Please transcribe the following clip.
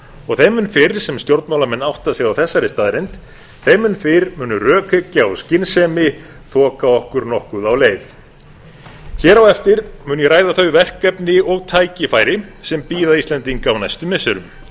og þeim mun fyrr sem stjórnmálamenn átta sig á þessari staðreynd þeim mun fyrr mun rökhyggja og skynsemi þoka okkur nokkuð á leið hér á eftir mun ég ræða þau verkefni og tækifæri sem bíða íslendinga á næstu missirum